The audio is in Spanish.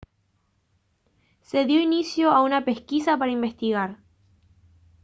se dio inicio a una pesquisa para investigar